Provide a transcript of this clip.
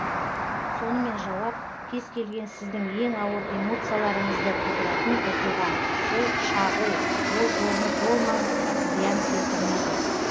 сонымен жауап кез келген сіздің ең ауыр эмоцияларыңызды тудыратын оқиға ол шағу ол орны толмас зиян келтірмейді